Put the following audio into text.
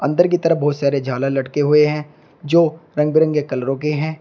अंदर की तरफ बहुत सारे झालर लटके हुए है जो रंग बिरंगे कलरों के है।